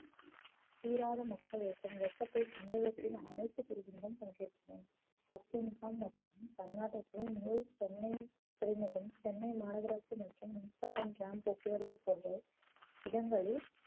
தீராத மக்கள் இயக்கம் சமுகத்தின் அனைத்து பிரிவுகளும் பங்கேற்றன பத்து முகாம் மற்றும் தன்னாட்டத்தில் முதல் சென்னையில் துறைமுகம் சென்னை மாநகராட்சி மற்றும் மின்சாரம் tram போக்குவரத்து போன்று இடங்களில்